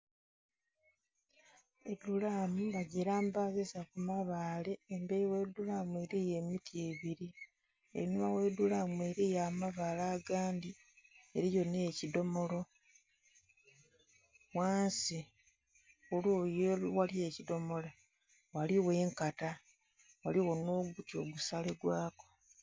edhuraamu bagirambaziza ku mabaale emberi ghe dhuraamu eriyo emiti ebiri, einhuma ghe dhulaamu eriyo amabaale agandhi eriyo nhekidhomolo. Ghansi, ku liyi eghali ekidhomola ghaligho enkata, ghaligho nh'oguti ogusale gwaku.